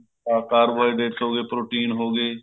carbohydrates ਹੋ ਗਏ protein ਹੋ ਗਏ